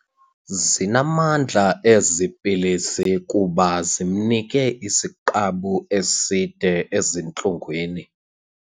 Zinamandla ezi pilisi kuba zimnike isiqabu eside ezintlungwini.